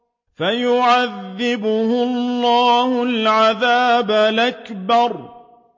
فَيُعَذِّبُهُ اللَّهُ الْعَذَابَ الْأَكْبَرَ